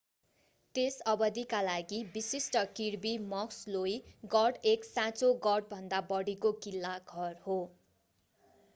त्यस अवधिका लागि विशिष्ट किर्बी मक्सलोई गढ एक साँचो गढभन्दा बढीको किल्ला घर हो